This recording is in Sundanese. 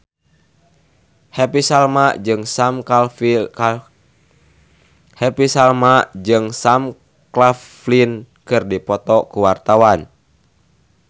Happy Salma jeung Sam Claflin keur dipoto ku wartawan